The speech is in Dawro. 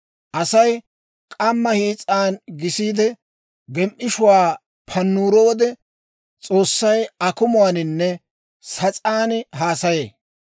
«Asay k'amma hiis'an gisiide, gem"ishshuwaa pannuro wode, S'oossay akumuwaaninne sas'aan haasayee.